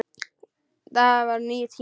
Þetta voru nýir tímar.